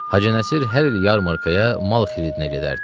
Hacı Nəsir hər il yarmarkaya mal xiridinə gedərdi.